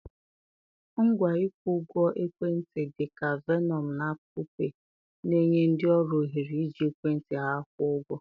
Ngwa ịkwụ ụgwọ ekwentị, dị ka Venmo na Apple Pay, na-enye ndị ọrụ ohere iji ekwentị ha kwụọ ụgwọ.